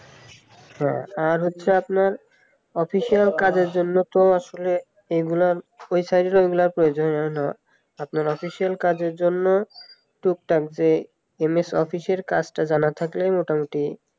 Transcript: হ্যাঁ আর হচ্ছে আপনার official কাজের জন্য তো আসলে এগুলো website তো আর এগুলোর প্রয়োজনই হয় না আপনার official কাজের জন্য টুকটাক যে এম এস অফিসের কাজটা জানা থাকলেই মোটামুটি